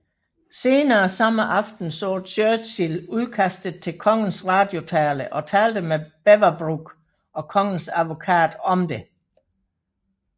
Senere samme aften så Churchill udkastet til kongens radiotale og talte med Beaverbrook og kongens advokat om det